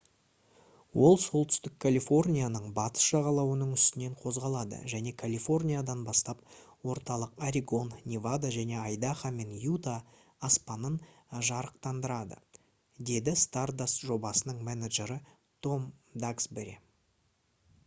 «ол солтүстік калифорнияның батыс жағалауының үстінен қозғалады және калифорниядан бастап орталық орегон невада және айдахо мен юта аспанын жарықтандырады» - деді stardust жобасының менеджері том даксбери